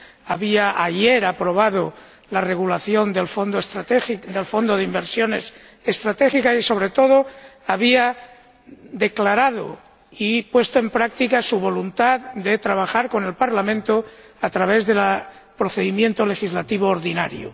había —ayer— aprobado la regulación del Fondo de inversiones estratégicas y, sobre todo, había declarado y puesto en práctica su voluntad de trabajar con el Parlamento a través del procedimiento legislativo ordinario.